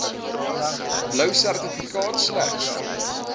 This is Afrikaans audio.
blou sertifikaat slegs